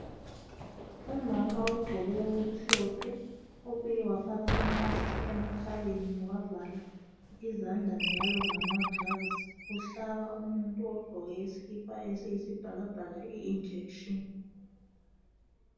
Umama ogqoke okumhlophe obuye wafaka imask emakhaleni wavala izandla njalo ngamakilovisi uhlaba umuntu ogqoke isikipa esiyibhakabhaka ijekiseni.